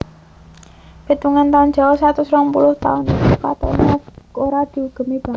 Pétungan taun Jawa satus rong puluh taun iku katoné ora diugemi banget